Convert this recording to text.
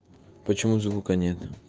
почему звука нет